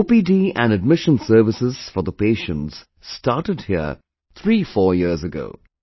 OPD and admission services for the patients started here threefour years ago